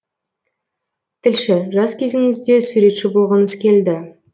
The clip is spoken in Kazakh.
тілші жас кезіңізде суретші болғыңыз келді